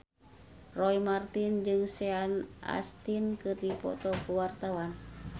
Roy Marten jeung Sean Astin keur dipoto ku wartawan